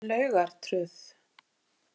Laugartröð